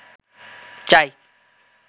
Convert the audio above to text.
চাই